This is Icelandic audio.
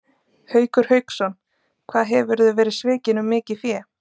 Haukur Hauksson: Hvað hefurðu verið svikinn um mikið fé?